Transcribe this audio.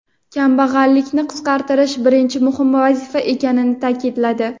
kambag‘allikni qisqartirish birinchi muhim vazifa ekanini ta’kidladi.